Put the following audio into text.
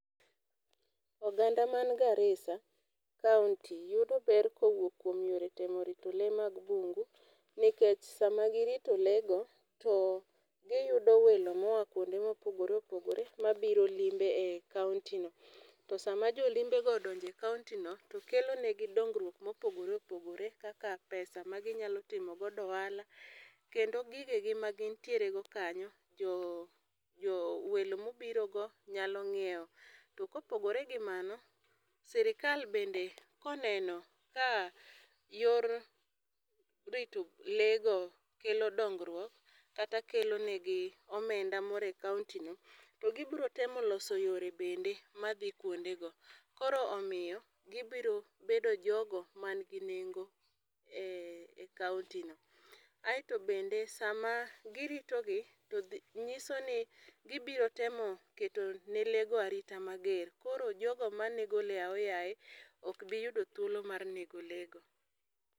Oganda man Garisa kaunti yudo ber ko owuok kuom yore rito lee mag bungu nikech saa ma gi rito lee go, to gi yudo welo ma oa kuonde ma opogore opogore ma biro limbe e kaunti no. To saa ma jo limbego odonjo e kaunti no to kelo ne gi dongruok ma opogore opogore kaka pesa ma gi nyalo timo go ohala. Kendo gige gi ma gin tieer go kanyo jo jo welo ma obiro go nyalo nyiewo. To kopogore gi mano, sirkal bende ka oneno ka yor rito lee go kelo dongruok kata kelo ne gi omenda moro e kaunti no to gi biro temo loso yore bende ma dhi kuonde go koro omiyo gi biro bedo jo go man gi nengo e kaunti no.Aito bende sa ma gi rito gi ng'iso ni gi biro temo keto ne lee go arita ma ger koro jo go ma nego lee go ayoyaye ok bi yudo thuolo mar nego lee go.